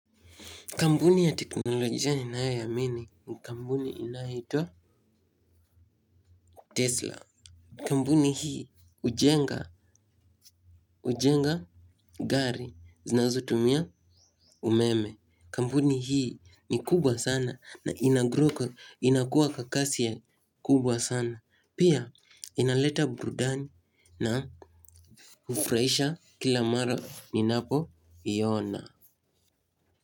Kampuni ya teknolojia ninayo iamini ni kampuni inayoitwa tesla. Kampuni hii hujenga gari zinazo tumia umeme. Kampuni hii ni kubwa sana na inagrow inakuwa kwa kasi ya kubwa sana. Pia inaleta burudani na hufurahisha kila mara ninapo iona.